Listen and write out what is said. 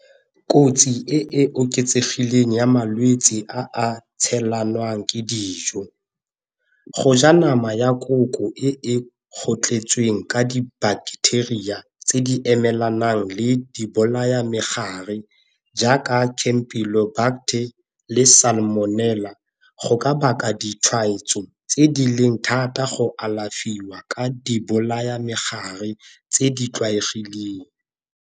Kotsi e e oketsegileng ya malwetse a tshelanwang ke dijo, go ja nama ya koko e kgotlhetsweng ka di-bacteria tse di emelanang le di bolaya megare jaaka le go ka baka ditshwaetso tse di leng thata go alafiwa ka di bolaya megare tse di tlwaelegileng.